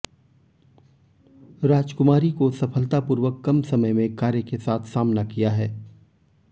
राजकुमारी को सफलतापूर्वक कम समय में कार्य के साथ सामना किया है